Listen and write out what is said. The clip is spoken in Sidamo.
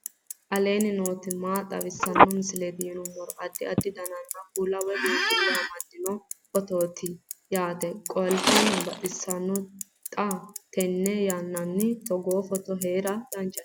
aleenni nooti maa xawisanno misileeti yinummoro addi addi dananna kuula woy biinfille amaddino footooti yaate qoltenno baxissannote xa tenne yannanni togoo footo haara danchate